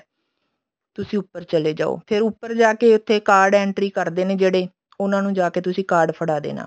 ਤੁਸੀਂ ਉੱਪਰ ਚਲੇ ਜਾਓ ਫੇਰ ਉੱਪਰ ਜਾ ਕੇ ਜਿੱਥੇ card entry ਕਰਦੇ ਨੇ ਜਿਹੜੇ ਉਹਨਾ ਨੂੰ ਜਾਕੇ ਤੁਸੀਂ card ਫੜਾ ਦੇਣਾ